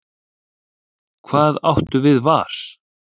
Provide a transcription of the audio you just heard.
Hvað áttu við var?